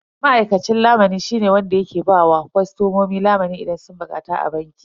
Ma'aikacin lamuni shine wanda yake ba wa kostomomi lamuni idan sun bukata a banki.